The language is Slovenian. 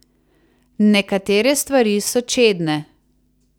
Nekatere stvari so čedne.